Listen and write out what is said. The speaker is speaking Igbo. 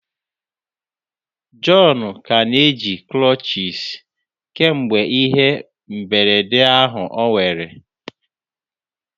John ka na-eji crutches kemgbe ihe mberede ahụ o nwere.